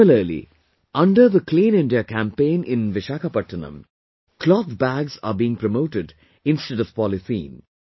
Similarly, under the 'Clean India Campaign' in Visakhapatnam, cloth bags are being promoted instead of polythene